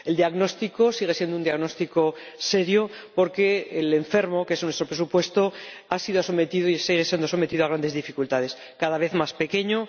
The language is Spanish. El diagnóstico sigue siendo un diagnóstico serio, porque el enfermo, que es nuestro presupuesto, ha sido sometido y sigue siendo sometido a grandes dificultades cada vez más pequeño